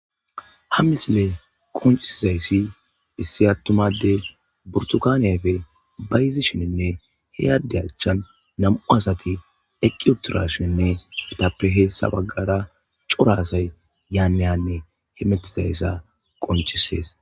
Ha misiley qonccisizayssi issi attuma addey burtukane ayfe bayzishenne he adde achchan nam'u asati eqqi uttidashinne eetappe hessa baggara cora asay yan han hemetizayssa qoncisees.